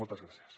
moltes gràcies